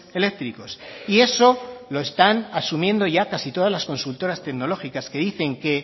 eléctricos y eso lo están asumiendo ya casi todas las consultoras tecnológicas que dicen que